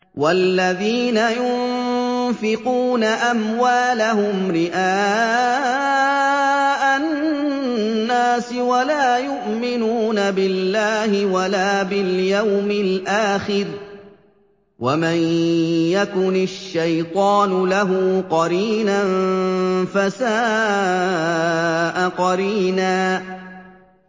وَالَّذِينَ يُنفِقُونَ أَمْوَالَهُمْ رِئَاءَ النَّاسِ وَلَا يُؤْمِنُونَ بِاللَّهِ وَلَا بِالْيَوْمِ الْآخِرِ ۗ وَمَن يَكُنِ الشَّيْطَانُ لَهُ قَرِينًا فَسَاءَ قَرِينًا